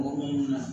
Mɔgɔ minnu na